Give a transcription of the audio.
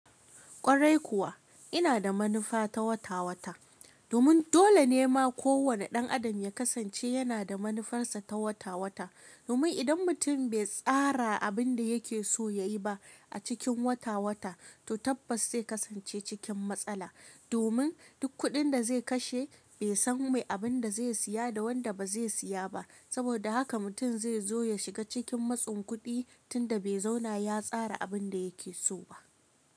Kwarai kuwa ina da manufa ta wata-wata domin dole ne ma kowane ɗan adam ya kasance yana da manufarsa ta wata-wata. Domin idan mutum bai tsara abin da yake so yayi ba a cikin wata-wata, to tabbas zai kasance cikin matsala. Domin duk kuɗin da zai kashe bai san mai abin da zai siya da wanda ba zai siya ba. Saboda haka mutum zai zo ya shiga cikin matsin kuɗi tunda bai zauna ya tsara abin da yake so ba.